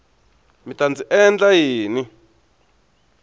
mi ta ndzi endla yini